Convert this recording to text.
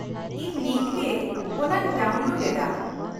-ᱤᱧ ᱱᱤᱛ ᱜᱮ ᱚᱱᱟᱧ ᱰᱟᱣᱩᱱᱞᱳᱰ ᱮᱫᱟ ᱾